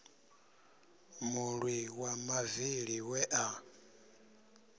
mulwi wa mavili we a